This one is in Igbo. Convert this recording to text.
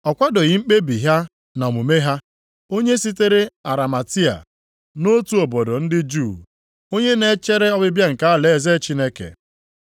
Ọ kwadoghị mkpebi ha na omume ha. Onye sitere Arimatia, nʼotu obodo ndị Juu, onye na-echere ọbịbịa nke alaeze Chineke.